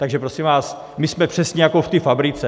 Takže, prosím vás, my jsme přesně jako v té fabrice.